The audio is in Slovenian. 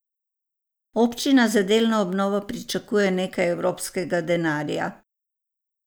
Občina za delno obnovo pričakuje nekaj evropskega denarja.